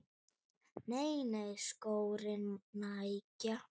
Nei nei, skórnir nægja.